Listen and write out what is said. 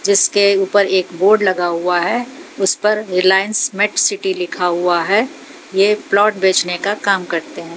जिसके ऊपर एक बोर्ड लगा हुआ है उस पर रिलाएंस मेट सिटी लिखा हुआ है ये प्लाट बेचने का काम करते--